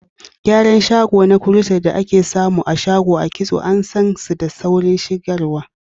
Gyaran gashi na crochet, da ake samu a shago kitso, an san su da saurin shigarwa.